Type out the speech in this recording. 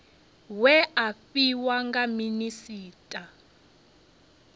we a fhiwa nga minisita